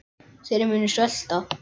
Þeir munu svelta.